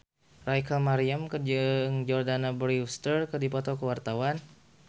Rachel Maryam jeung Jordana Brewster keur dipoto ku wartawan